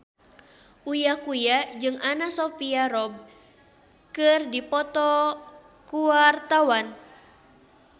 Uya Kuya jeung Anna Sophia Robb keur dipoto ku wartawan